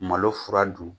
Malo fura dun